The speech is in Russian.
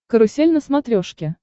карусель на смотрешке